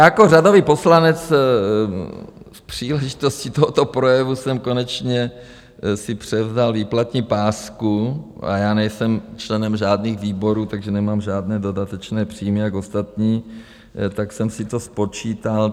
Jako řadový poslanec při příležitostí tohoto projevu jsem konečně si převzal výplatní pásku, a já nejsem členem žádných výborů, takže nemám žádné dodatečné příjmy jako ostatní, tak jsem si to spočítal.